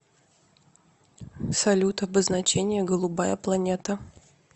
салют обозначение голубая планета